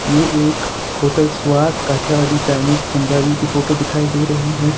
ये एक hotel Swad Kathiyawadi Chinese Punjabi की फोटो दिखाई दे रही है।